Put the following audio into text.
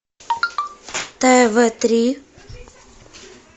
тв три